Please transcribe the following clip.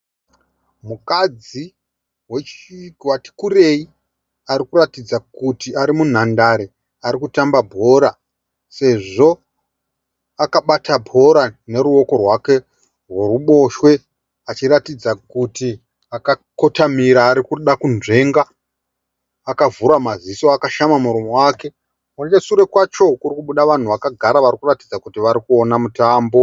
Mukadzi atikurei arikuratidza kuti ari munhandare arikutamba bhora. Sezvo akabata bhora neruwoko rwake rweruboshwe achiratidza kuti akakotamira arikuda kunzvenga akavhura maziso akashama muromo wake. Nechesure kwacho kurikubuda vanhu vakagara varikuratidza kuti varikuona mutambo.